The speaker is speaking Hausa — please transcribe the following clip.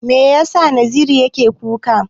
Me yasa Naziru yake kuka?